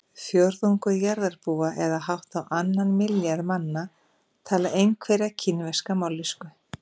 Fjórðungur jarðarbúa eða hátt á annan milljarð manna tala einhverja kínverska mállýsku.